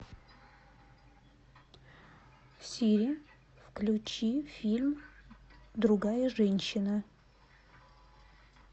сири включи фильм другая женщина